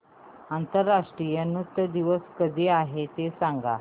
आंतरराष्ट्रीय नृत्य दिवस कधी आहे ते सांग